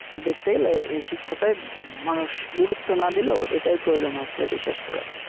দেখতে গেলে এ শিক্ষাটায় মানুষ গুরুত্ব না দিলেও এটাই প্রয়োজন হচ্ছে বিশেষ করে